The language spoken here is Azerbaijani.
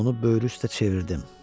Onu böyrü üstə çevirdim.